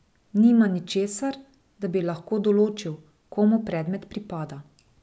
Nima ničesar, da bi lahko določil, komu predmet pripada.